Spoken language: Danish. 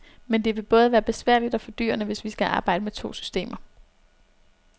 Men det vil både være besværligt og fordyrende, hvis vi skal arbejde med to systemer.